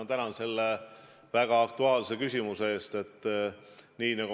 Ma tänan selle väga aktuaalse küsimuse eest!